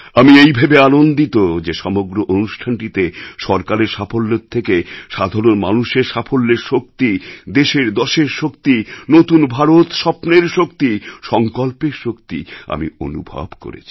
আমি এই ভেবে আনন্দিত যে সমগ্র অনুষ্ঠানটিতে সরকারের সাফল্যের থেকে সাধারণ মানুষের সাফল্যের শক্তি দেশেরদশের শক্তি নতুন ভারত স্বপ্নের শক্তি সংকল্পের শক্তি আমি অনুভব করেছি